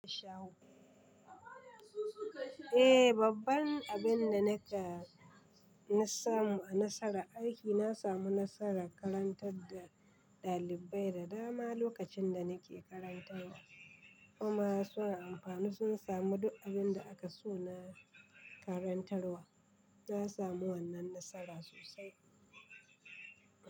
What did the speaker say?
Eh, babban abin da na ka, na samu a nasarar aiki, na samu nasarar karantar da ɗalibai da dama lokacin da nake karantarwa. Kuma suna amfani, sun samun duk abin da aka so na karantarwa. Na samu wannan nasara sosai.